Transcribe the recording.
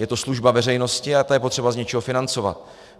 Je to služba veřejnosti a to je třeba z něčeho financovat.